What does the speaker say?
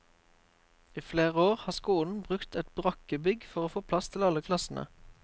I flere år har skolen brukt et brakkebygg for å få plass til alle klassene.